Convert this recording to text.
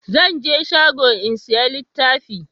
zan je shago in saya littafi